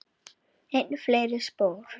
Dóri kom ekki aftur.